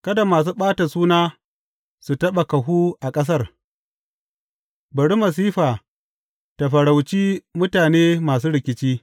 Kada masu ɓata suna su taɓa kahu a ƙasar; bari masifa ta farauci mutane masu rikici.